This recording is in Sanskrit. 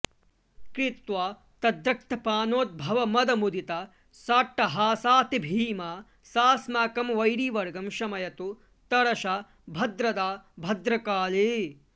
कृत्वा तद्रक्तपानोद्भवमदमुदिता साट्टहासातिभीमा सास्माकं वैरिवर्गं शमयतु तरसा भद्रदा भद्रकाली